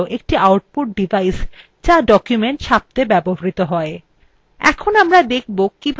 সহজ ভাষায় একটি printer হল একটি output ডিভাইস যা একটি document ছাপত়ে ব্যবহৃত হয়